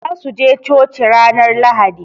Za su je coci ranar lahadi.